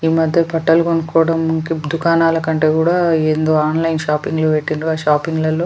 ఈ మధ్య బట్టలు కనుక్కోవడం దుకాణాల కంటే కూడా ఏందో ఆన్లైన్ షాపింగ్లు పెట్టింద్రు ఆ షాపింగ్ లాల్లో --